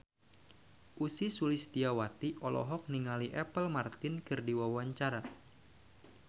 Ussy Sulistyawati olohok ningali Apple Martin keur diwawancara